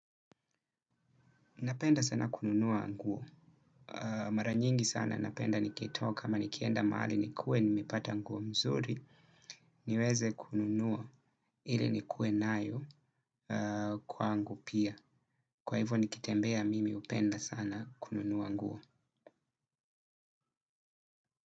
Napenda sana kununua nguo. Mara nyingi sana napenda niketoka ama nikienda mahali nikue nimepata nguo mzuri. Niweze kununua ili nikuwe nayo kwangu pia. Kwa hivyo nikitembea mimi upenda sana kununua nguo.